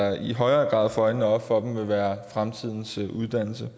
i højere grad får øjnene op for den vil være fremtidens uddannelse